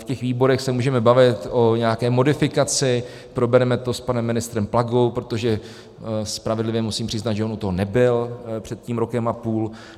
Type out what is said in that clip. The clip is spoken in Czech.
V těch výborech se můžeme bavit o nějaké modifikaci, probereme to s panem ministrem Plagou, protože spravedlivě musím přiznat, že on u toho nebyl před tím rokem a půl.